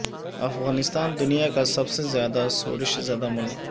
افغانستان دنیا کا سب سے زیادہ شورش زدہ ملک